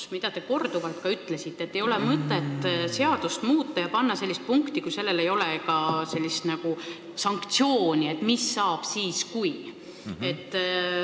Te ütlesite korduvalt, et ei ole mõtet seadust muuta ja panna sinna sellist punkti, kui ei ole ette nähtud sanktsiooni, et mis saab siis, kui ...